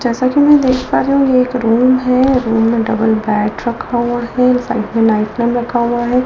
जैसा कि मैं देख पा रही हूं कि एक रूम है रूम मे डबल बेड रखा हुआ है साइड मे नाइट लैम्प रखा हुआ है।